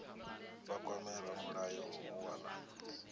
vha kwame ramulayo u wana